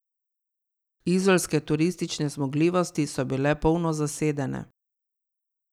Izolske turistične zmogljivosti so bile polno zasedene.